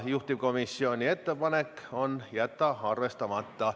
Juhtivkomisjoni ettepanek on jätta see arvestamata.